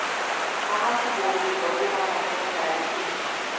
ਆਹ ਕੀ ਬੋਲ ਗਏ ਬੱਬੂ ਮਾਨ ਆਪਣੇ ਫੈਨਸ ਲਈ